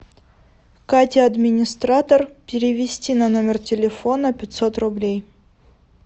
катя администратор перевести на номер телефона пятьсот рублей